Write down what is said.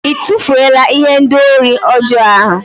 Ị tụfuola ihendori ọjọọ ahụ?